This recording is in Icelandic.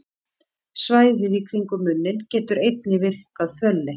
Svæðið í kringum munninn getur einnig virkað fölleitt.